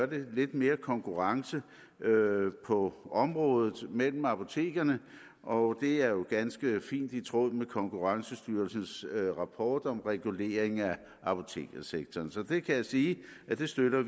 blive lidt mere konkurrence på området mellem apotekerne og det er jo ganske fint i tråd med konkurrencestyrelsens rapport om regulering af apotekersektoren så det kan jeg sige at vi støtter